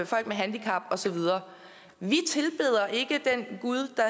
folk med handicap og så videre vi tilbeder ikke den gud der